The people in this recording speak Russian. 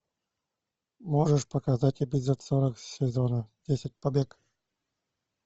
можешь показать эпизод сорок сезона десять побег